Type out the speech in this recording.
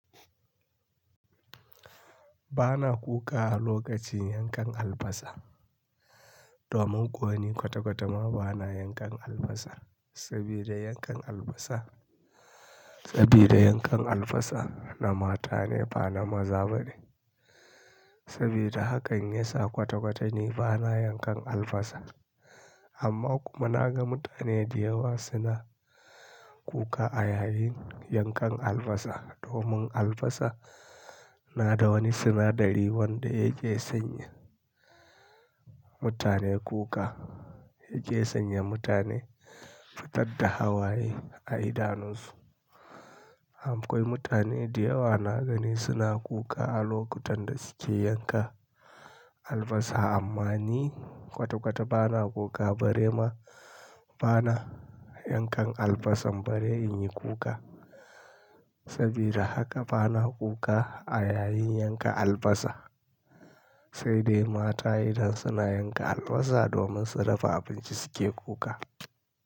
Ba na kuka a lokacin yankan albasa domin ko wani kwata-kwata ma ba na yankan albasa. Sabida yankan albasa, sabida yankan albasa na mata ne ba na maza ba ne. Sabida haka in yesa kwata-kwata ni ba na yankan albasa. Amma kuma na ga mutane da yawa suna kuka a yayin yankan albasa domin albasa na da wani sinadari wanda yake sanya mutane kuka, yake sanya mutane fitar da hawaye a idanunsu. Am, akwai mutane da yawa na gani suna kuka a lokutan da suke yanka albasa amma ni kwata-kwata ba na kuka bare ma ba na yankan albasa bare in yi kuka. Sabida haka ba na kuka a yayin yanka albasa, sai dai mata idan suna yanka albasa domin su dafa abinci suke kuka.